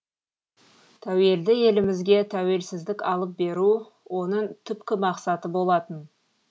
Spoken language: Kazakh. тәуелді елімізге тәуелсуздік алып беру оның түпкі мақсаты болатын